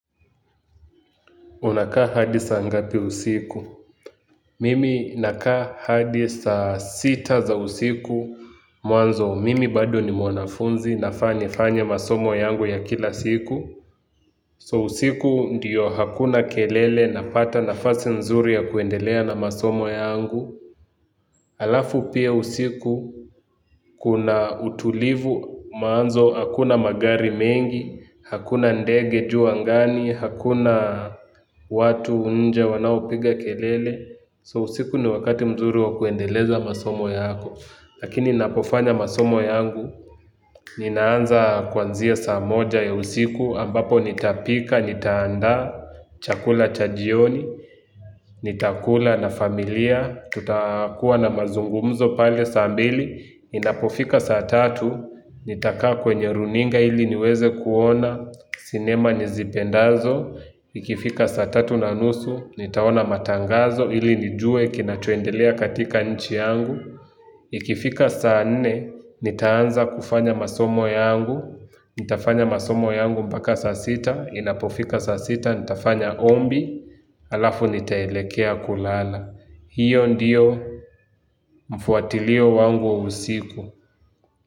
Unakaa hadi saa ngapi usiku? Mimi nakaa hadi saa sita za usiku. Mwanzo mimi bado ni mwanafunzi nafa nifanye masomo yangu ya kila siku. So usiku ndiyo hakuna kelele napata nafasi nzuri ya kuendelea na masomo yangu. Alafu pia usiku kuna utulivu maanzo hakuna magari mengi. Hakuna ndege juu angani, hakuna watu nje wanao piga kelele So usiku ni wakati mzuri wa kuendeleza masomo yako. Lakini napofanya masomo yangu ninaanza kwanzia saa moja ya usiku ambapo nitapika, nitaandaa, chakula cha jioni. Nitakula na familia tutakuwa na mazungumzo pale saa mbili inapofika saa tatu nitakaa kwenye runinga ili niweze kuona sinema nizipendazo ikifika saa tatu na nusu nitaona matangazo ili nijue kinachoendelea katika nchi yangu ikifika saa nne nitaanza kufanya masomo yangu nitafanya masomo yangu mpaka saa sita inapofika saa sita nitafanya ombi alafu nitaelekea kulala. Hiyo ndiyo mfuatilio wangu usiku.